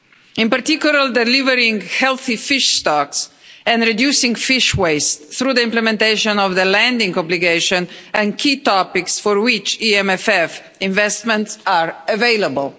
in particular delivering healthy fish stocks and reducing fish waste through the implementation of the landing obligation and key topics for which EMFF investments are available.